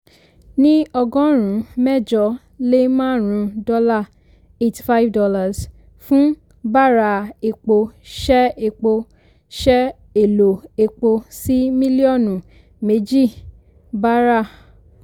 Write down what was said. ní ọgọ́rùn-ún mẹ́jọ lé márùn-ún dọ́là ($ eighty five ) fún bàráà epo ṣẹ epo ṣẹ èlò epo sí mílíọ̀nù méjì bàráà.